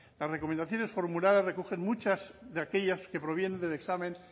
las recomendaciones formuladas recogen muchas de aquellas que provienen del examen